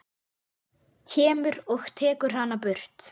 Kemur og tekur hana burt.